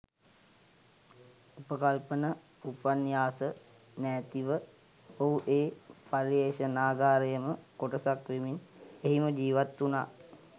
උපකල්පන උපන්යාස නෑතිව ඔහු ඒ පර්යෙශනාගාරයෙම කොටසක් වෙමින් එහිම ජීවත් උනා.